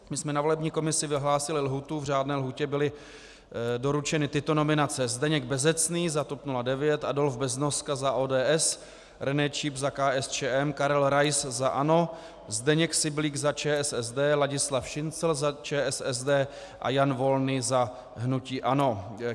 My jsme na volební komisi vyhlásili lhůtu, v řádné lhůtě byly doručeny tyto nominace: Zdeněk Bezecný za TOP 09, Adolf Beznoska za ODS, René Číp za KSČM, Karel Rais za ANO, Zdeněk Syblík za ČSSD, Ladislav Šincl za ČSSD a Jan Volný za hnutí ANO.